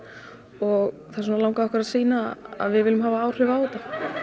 og þess vegna langaði okkar að sýna að við viljum hafa áhrif á þetta